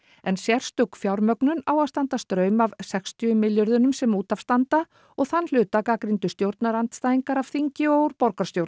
en sérstök fjármögnun á að standa straum af sextíu milljörðum sem út af standa og þann hluta gagnrýndu stjórnarandstæðingar af þingi og úr borgarstjórn